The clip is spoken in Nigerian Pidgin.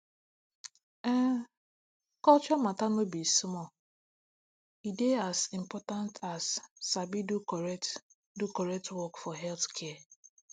ehn culture matter no be small e dey as important as sabi do correct do correct work for healthcare